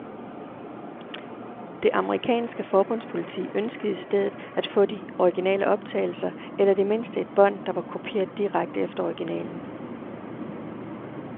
Det amerikanske forbundspoliti ønskede i stedet at få de originale optagelser, eller i det mindste et bånd, der var kopieret direkte efter originalen.